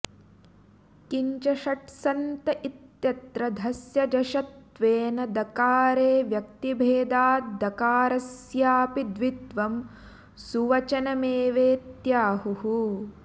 किंच षट् सन्त इत्यत्र धस्य जश्त्वेन दकारे व्यक्तिभेदाद्दकारस्यापि द्वित्वं सुवचमेवेत्याहुः